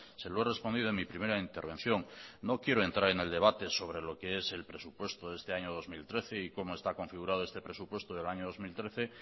se lo he respondido en mi primera intervención no quiero entrar en el debate sobre lo que es el presupuesto de este año dos mil trece y cómo está configurado este presupuesto del año dos mil trece